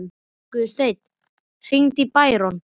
Guðstein, hringdu í Bæron.